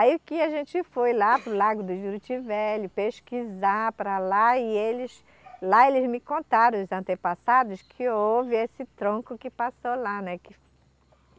Aí que a gente foi lá para o Lago do Juruti Velho, pesquisar para lá, e eles... Lá eles me contaram, os antepassados, que houve esse tronco que passou lá, né? que